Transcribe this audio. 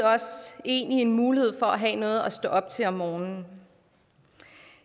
en i en mulighed for at have noget at stå op til om morgenen